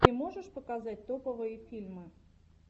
ты можешь показать топовые фильмы